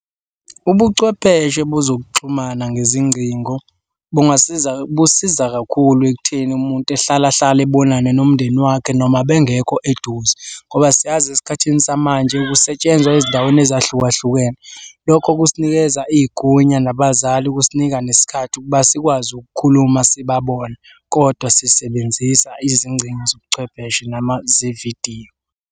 Ubuchwepheshe bezokuxhumana ngezingcingo bungasiza, busiza kakhulu ekutheni umuntu ehlala hlale ebonane nomndeni wakhe noma bengekho eduze, ngoba siyazi esikhathini samanje kusetshenzwa ezindaweni ezahlukahlukene. Lokho kusinikeza igunya nabazali ukusinika nesikhathi ukuba sikwazi ukukhuluma sibabona, kodwa sisebenzisa izingcingo zobuchwepheshe noma zevidiyo.